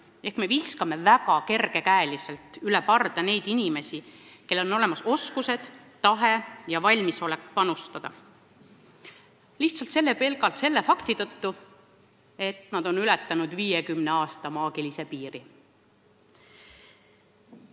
Teiste sõnadega me viskame väga kergekäeliselt üle parda inimesi, kellel on olemas oskused, tahe ja valmisolek panustada, pelgalt selle fakti tõttu, et nad on ületanud 50 aasta maagilise piiri.